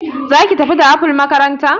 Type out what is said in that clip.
zaki tafi da apple makaranta?